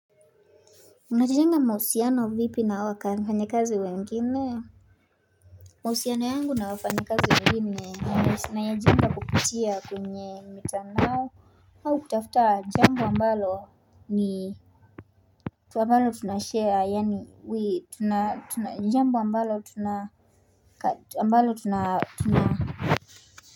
Mnajenga mahusiano vipi na wafanyikazi wengine. Mahusiano yangu na wafanyikazi wengine. Nayajenga kupitia kwenye mitandao. Au kutafuta, jambo ambalo ni ambalo tunasharea, yani wii tunashea.